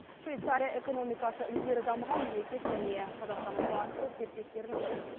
швейцария экономикасы ілгері дамыған мемлекет және қазақстанның басты серіктестерінің бірі